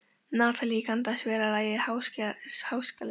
Natalí, kanntu að spila lagið „Háskaleikur“?